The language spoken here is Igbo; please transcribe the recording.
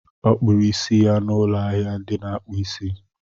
Ọ kpụrụ isi ya n'ụlọ ahịa ndị na-akpụ isi.